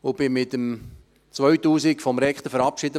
Ich wurde im Jahr 2000 vom Rektor mit den Worten verabschiedet: